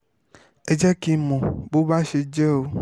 ẹ jẹ́ kí n mọ bó bá ṣe jẹ́ o